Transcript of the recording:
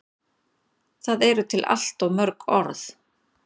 Það eru til allt of mörg orð.